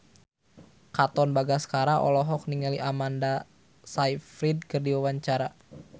Katon Bagaskara olohok ningali Amanda Sayfried keur diwawancara